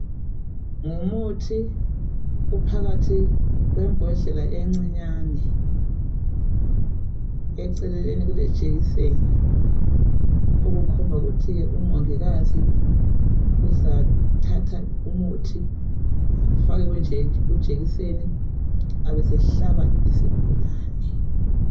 Ngumuthi uphakathi kwembodlela encinyane. Eceleni kulejekiseni. Okukhomba ukuthi umongikazi uzathatha umuthi, afake kunje..kujekiseni. Abesehlaba isigulane.